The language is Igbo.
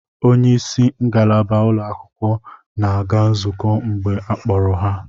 Onye isi ngalaba ụlọakwụkwọ na-aga nzukọ mgbe a kpọrọ ha